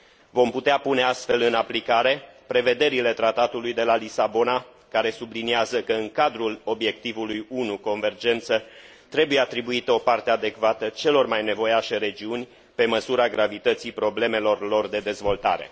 Vom putea pune astfel în aplicare prevederile Tratatului de la Lisabona, care subliniază că în cadrul Obiectivului 1 trebuie atribuită o parte adecvată celor mai nevoiașe regiuni, pe măsura gravității problemelor lor de dezvoltare.